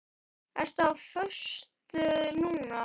Ertu á föstu núna?